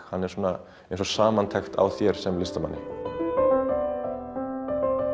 hann er eins og samantekt á þér sem listamanni bach